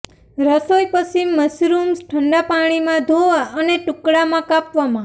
રસોઈ પછી મશરૂમ્સ ઠંડા પાણીમાં ધોવા અને ટુકડામાં કાપવામાં